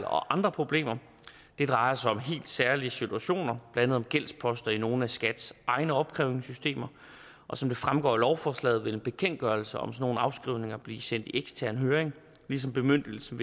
og andre problemer det drejer sig om helt særlige situationer blandt andet om gældsposter i nogle af skats egne opkrævningssystemer og som det fremgår af lovforslaget vil en bekendtgørelse om sådan nogle afskrivninger blive sendt i ekstern høring ligesom bemyndigelsen